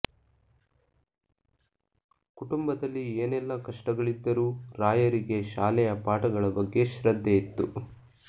ಕುಟುಂಬದಲ್ಲಿ ಏನೆಲ್ಲ ಕಷ್ಟಗಳಿದ್ದರೂ ರಾಯರಿಗೆ ಶಾಲೆಯ ಪಾಠಗಳ ಬಗ್ಗೆ ಶ್ರದ್ಧೆ ಇತ್ತು